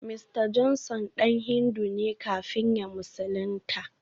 Mista Johnson dan Hindu ne kafin ya musulunta